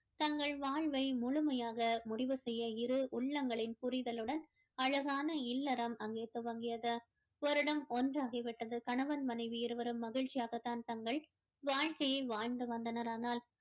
தங்கள் வாழ்வை முழுமையாக முடிவு செய்ய இரு உள்ளங்களின் புரிதலுடன் அழகான இல்லறம் அங்கே துவங்கியது வருடம் ஒன்றாகிவிட்டது கணவன் மனைவி இருவரும் மகிழ்ச்சியாக தான் தங்கள் வாழ்க்கையை வாழ்ந்து வந்தனர் ஆனால்